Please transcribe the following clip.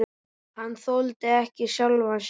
Hann þoldi ekki sjálfan sig.